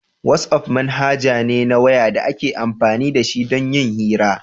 WhatsApp manhaja ne na waya da ake amfani da shi don yin hira